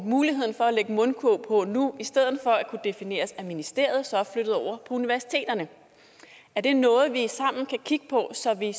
muligheden for at lægge en mundkurv på nu i stedet for at kunne defineres af ministeriet så er flyttet over på universiteterne er det noget vi sammen kan kigge på så vi